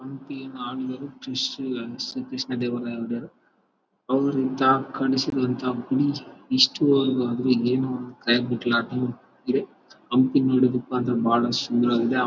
ಹಂಪಿನ ಆಳಿದರು ಕ್ರಿಶ್ ಶ್ರೀ ಕೃಷ್ಣದೇವರಾಯ ಒಡೆಯರ್ ಅವರು ಎಂತ ಕನಸುಗಳಂತ ಇಷ್ಟು ವವರೆಗೆ ಆದ್ರೂ ಹಿಂಗೇನು ಇದೇ ಹಂಪಿ ನೋಡೂದುಕ್ಕಂತೂ ಬಹಳ ಸುಂದರವಾಗಿದೆ .